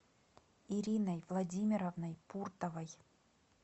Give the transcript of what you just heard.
ириной владимировной пуртовой